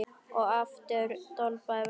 Og aftur doblaði vestur.